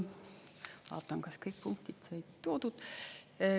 Vaatan, kas kõik punktid said toodud.